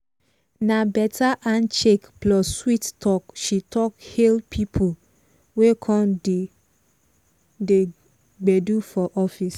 na better handshake plus sweet talk he take hail people wey come di gbedu for office.